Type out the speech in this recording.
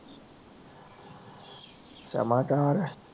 ਸ਼ਰਮਾ ਘਰ ਹੀ ਆ